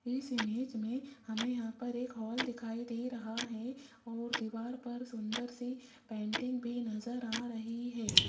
इस इमेज में हमें यहां पर एक हाल दिखाई दे रहा है और दीवार पर सुंदर सी पेंटिंग भी नजर आ रही है।